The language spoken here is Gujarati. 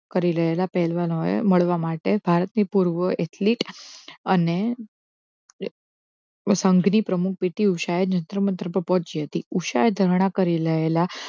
કરી રહેલા પહેલવાન એ મળવા માટે ભારતની પૂર્વ એટલી અને સંઘની પ્રમુખ PT ઉષા એ જંત્ર મંત્ર ઉષાએ ધારણા કરી રહેલા